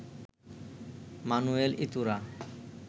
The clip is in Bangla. Manuel Iturra